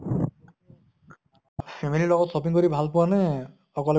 family লগত shopping কৰি ভাল পোৱা নে অকলে